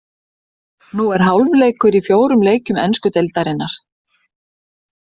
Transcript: Nú er hálfleikur í fjórum leikjum ensku deildarinnar.